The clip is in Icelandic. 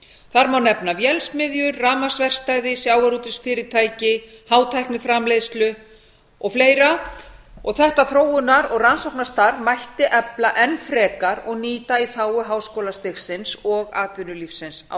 þar má nefna vélsmiðjur rafmagnsverkstæði sjávarútvegsfyrirtæki hátækniframleiðslu og fleiri þetta þróunar og rannsóknastarf mætti efla enn frekar og nýta í þágu háskólastigsins og atvinnulífsins á